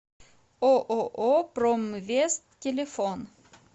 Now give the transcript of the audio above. ооо промвест телефон